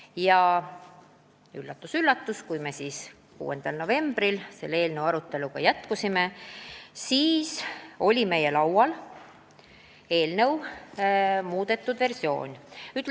Ja üllatus-üllatus, kui me siis 6. novembril seda arutelu jätkasime, siis oli meie laual eelnõu muudetud versioon.